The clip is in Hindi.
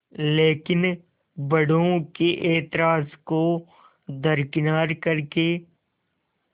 लेकिन बड़ों के ऐतराज़ को दरकिनार कर के